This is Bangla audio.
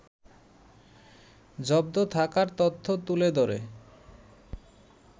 জব্দ থাকার তথ্য তুলে ধরে